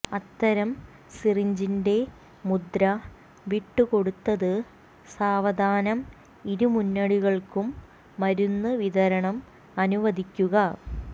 അത്തരം സിറിഞ്ചിൻറെ മുദ്ര വിട്ടുകൊടുത്തത് സാവധാനം ഇരുമുന്നണികൾക്കും മരുന്ന് വിതരണം അനുവദിക്കുക